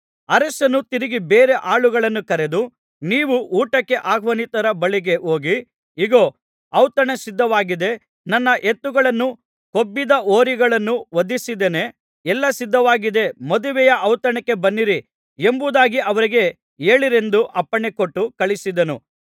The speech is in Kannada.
ಅರಸನು ತಿರುಗಿ ಬೇರೆ ಆಳುಗಳನ್ನು ಕರೆದು ನೀವು ಊಟಕ್ಕೆ ಆಹ್ವಾನಿತರ ಬಳಿಗೆ ಹೋಗಿ ಇಗೋ ಔತಣ ಸಿದ್ಧವಾಗಿದೆ ನನ್ನ ಎತ್ತುಗಳನ್ನೂ ಕೊಬ್ಬಿದ ಹೋರಿಗಳನ್ನೂ ವಧಿಸಿದ್ದೇನೆ ಎಲ್ಲಾ ಸಿದ್ಧವಾಗಿದೆ ಮದುವೆಯ ಔತಣಕ್ಕೆ ಬನ್ನಿರಿ ಎಂಬುದಾಗಿ ಅವರಿಗೆ ಹೇಳಿರೆಂದು ಅಪ್ಪಣೆ ಕೊಟ್ಟು ಕಳುಹಿಸಿದನು